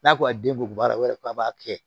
N'a ko a den bugunbara o b'a fɔ k'a b'a kɛ